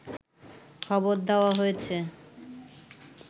খবর দেয়া হয়েছে